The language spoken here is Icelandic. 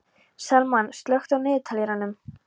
Salmann, slökktu á niðurteljaranum.